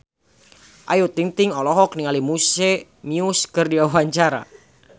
Ayu Ting-ting olohok ningali Muse keur diwawancara